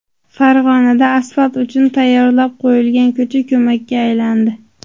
Farg‘onada asfalt uchun tayyorlab qo‘yilgan ko‘cha ko‘lmakka aylandi .